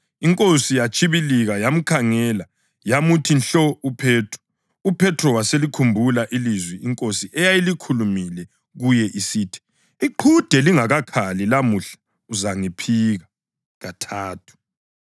INkosi yatshibilika, yamkhangela yamuthi nhlo uPhethro. UPhethro waselikhumbula ilizwi iNkosi eyayilikhulumile kuye isithi: “Iqhude lingakakhali lamuhla, uzangiphika kathathu.”